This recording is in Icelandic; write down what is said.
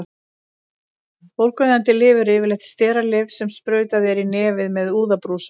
Bólgueyðandi lyf eru yfirleitt steralyf sem sprautað er í nefið með úðabrúsum.